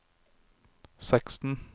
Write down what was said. seksten